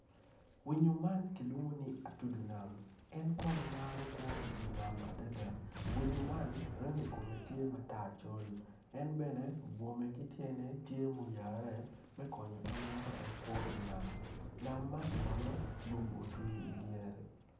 Winyo man kilwongo ni atudo nam obuto piny kun puc man kala kome tye macol nicuc kun opero ite tye ka winyo jami. Puc man bene nam man kono lum otwi iye.